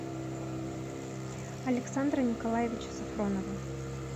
александра николаевича сафронова